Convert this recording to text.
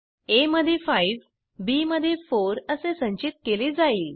आ मध्ये 5 बी मध्ये 4 असे संचित केले जाईल